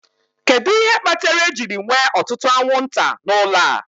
Kedu ihe kpatara ejiri nwee ọtụtụ anwụnta n'ụlọ a?